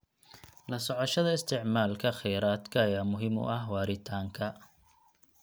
La socoshada isticmaalka kheyraadka ayaa muhiim u ah waaritaanka.